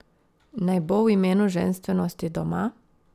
Naj bo v imenu ženstvenosti doma?